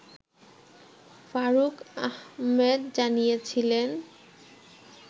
ফারুক আহমেদ জানিয়েছিলেন